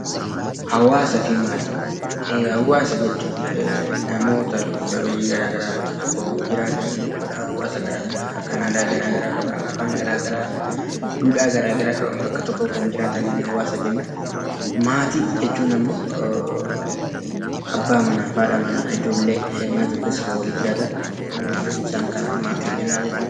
Hawwaasaa fi Maatii: Hawwaasa jechuun namootaa lubbu qabeeyyii gara garaa iddoo tokko jiraatan jechuudha. Hawwaasa gara garaa kan aadaa gara garaa qaban, afaan gara garaa, duudhaa gara garaa qaban bakka tokko jiraatan hawwaasa jenna. Maatii jechuun immoo abbaa manaa fi haadha manaa, ijoollee mana tokko keessa waliin jiraatan isaan kanaan maatii jenna jechuudha.